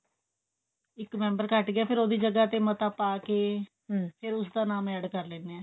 ਇੱਕ member ਘੱਟ ਗਿਆ ਫੇਰ ਉਹਦੀ ਜਗ੍ਹਾ ਤੇ ਮਤਾ ਪਾਕੇ ਫੇਰ ਉਸਦਾ ਨਾਮ add ਕੇ ਲਿੰਦੇ ਆ